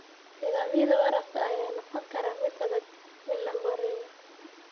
Nidaamyada waraabka ayaa noqon kara mid adag in la maareeyo.